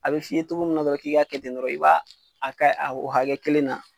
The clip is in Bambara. A bɛ f'i ye togo min na dɔrɔn k'i k'a kɛ ten dɔrɔn i b'a a kɛ a oo hakɛ kelen na